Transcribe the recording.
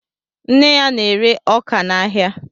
Nne ya na-ere ọkà n'áhiá